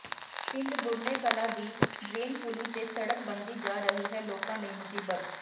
ਪਿੰਡ ਗੁਰਨੇ ਕਲਾ ਦੀ ਡਰੇਨ ਪੁਲੀ ਤੇ ਸੜਕ ਬਣਦੀ ਜਾ ਰਹੀ ਹੈ ਲੋਕਾਂ ਲਈ ਮੁਸੀਬਤ